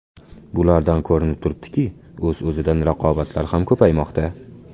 Bulardan ko‘rinib turibdiki, o‘z-o‘zidan raqobatlar ham ko‘paymoqda.